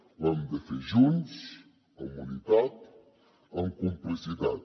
ho hem de fer junts amb unitat amb complicitat